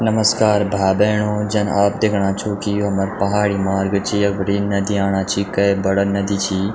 नमस्कार भाई-भेणो जन आप देखणा छो की यु हमर पहाड़ी मर्च्ग छ यख बटी नदी आणा छी के बड़ा नदी छी।